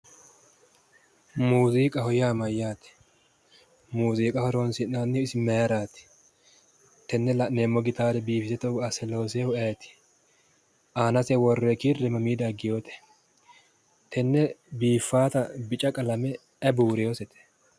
Muuziiqaho yaa mayyaate? muuziiqa horonsi'nannihu isi maayiiraati? tenne la'neemmo gitaare biifise togo asse looseehu ayeeti? aanaho worre kirre mamiinni dagewoote? tenne biifaata bica qalame ayi buuresete?